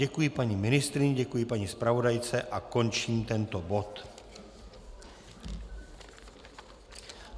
Děkuji paní ministryni, děkuji paní zpravodajce a končím tento bod.